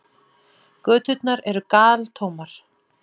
Göturnar eru galtómar.